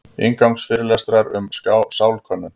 Inngangsfyrirlestrar um sálkönnun.